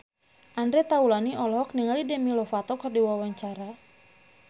Andre Taulany olohok ningali Demi Lovato keur diwawancara